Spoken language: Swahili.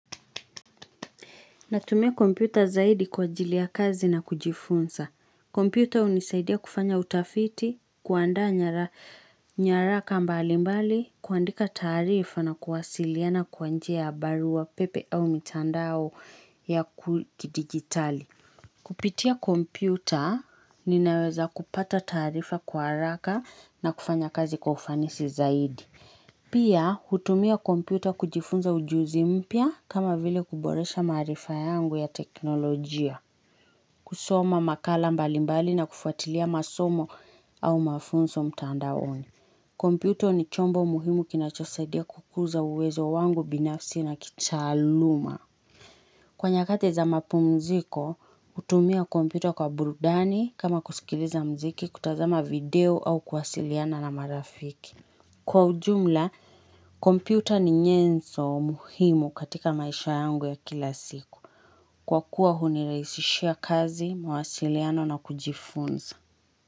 Natumia kompyuta zaidi kwa ajili ya kazi na kujifunza. Kompyuta unisaidia kufanya utafiti, kuandaa nyara ka mbali mbali, kuandika taarifa na kuwasiliana kwa njia ya barua pepe au mitandao ya kudigitali. Kupitia kompyuta, ninaweza kupata taarifa kwa haraka na kufanya kazi kwa ufanisi zaidi. Pia, hutumia kompyuta kujifunza ujuzi mpya kama vile kuboresha maarifa yangu ya teknolojia, kusoma makala mbalimbali na kufuatilia masomo au mafunso mtandaoni. Kompyuto ni chombo muhimu kinachosadia kukuza uwezo wangu binafsi na kichaaluma. Kwa nyakati za mapumziko, hutumia kompyuta kwa burudani kama kuskiliza mziki kutazama video au kuwasiliana na marafiki. Kwa ujumla, kompyuta ni nyenzo muhimu katika maisha yangu ya kila siku. Kwa kuwa huni rahisishia kazi, mawasiliano na kujifunza.